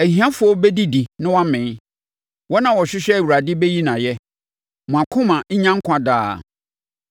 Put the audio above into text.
Ahiafoɔ bɛdidi na wɔamee; wɔn a wɔhwehwɛ Awurade bɛyi no ayɛ. Mo akoma nnya nkwa daa.